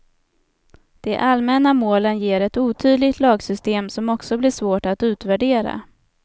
De allmänna målen ger ett otydligt lagsystem som också blir svårt att utvärdera.